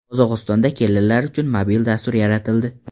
Qozog‘istonda kelinlar uchun mobil dastur yaratildi.